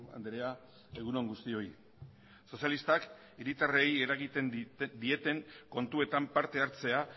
andrea egun on guztioi sozialistak hiritarrei eragiten dieten kontuetan parte hartzea